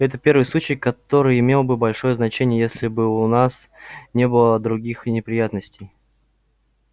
это первый случай который имел бы большое значение если бы у нас не было других неприятностей